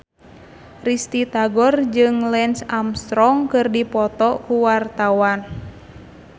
Risty Tagor jeung Lance Armstrong keur dipoto ku wartawan